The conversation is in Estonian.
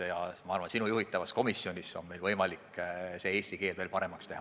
Ja ma arvan, et sinu juhitavas komisjonis on meil võimalik eelnõu eesti keel veel paremaks teha.